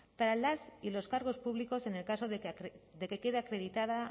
para las y los cargos públicos en el caso de que quede acreditada